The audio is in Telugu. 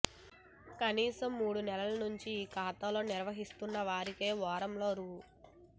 కనీసం మూడు నెలల నుంచి ఈ ఖాతాలు నిర్వహిస్తున్న వారికే వారంలో రూ